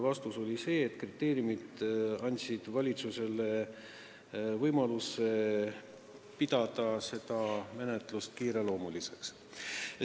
Vastus oli see, et kriteeriumid andsid valitsusele võimaluse pidada seda menetlust kiireloomuliseks.